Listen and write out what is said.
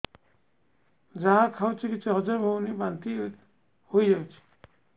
ଯାହା ଖାଉଛି କିଛି ହଜମ ହେଉନି ବାନ୍ତି ହୋଇଯାଉଛି